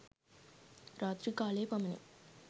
රාත්‍රී කාලයේ පමණි.